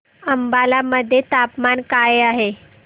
अंबाला मध्ये तापमान काय आहे